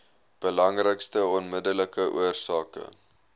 belangrikste onmiddellike oorsake